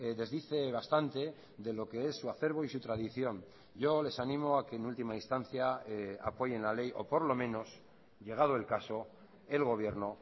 desdice bastante de lo que es su acerbo y su tradición yo les animo a que en última instancia apoyen la ley o por lo menos llegado el caso el gobierno